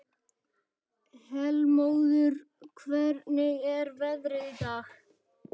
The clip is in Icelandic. Heilmóður, hvernig er veðrið í dag?